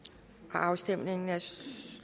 afstemningen er